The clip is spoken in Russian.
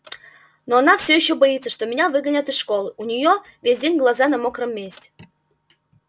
но она всё ещё боится что тебя выгонят из школы у неё весь день глаза на мокром месте